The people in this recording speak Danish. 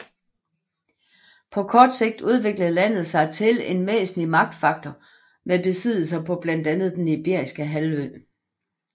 På kort tid udviklede landet sig til en væsentlig magtfaktor med besiddelser på blandt andet den Ibiriske Halvø